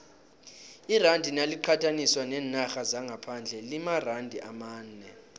iranda naliqathaniswa neenarha zangaphandle limaranda amane